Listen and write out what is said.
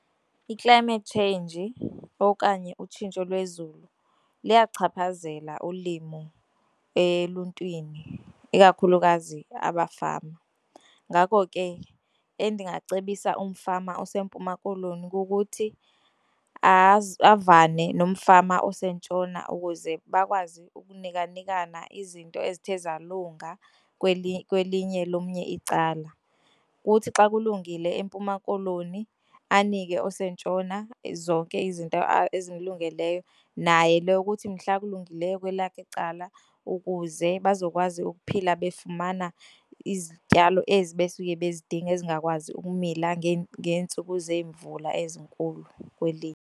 I-climate change okanye utshintsho lwezulu luyakuchaphazela ulimo eluntwini ikakhulukazi abafama, ngako ke endingacebisa umfama oseMpuma Koloni kukuthi avane nomfama osentshona ukuze bakwazi ukunika nikana izinto ezithe zalunga kwelinye lomnye icala. Kuthi xa kulungile eMpuma Koloni anike osentshona zonke izinto ezimlungeleyo naye leyo kuthi mhla kulungileyo kwelakhe icala ukuze bazokwazi ukuphila befumana izityalo ezi besuke bezindinga ezingakwazi ukumila ngeentsuku zemvula ezinkulu kwelinye.